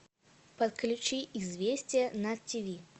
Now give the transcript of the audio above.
подключи известия на тиви